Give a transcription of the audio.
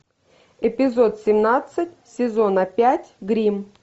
эпизод семнадцать сезона пять гримм